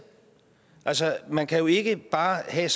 altså man kan jo ikke bare have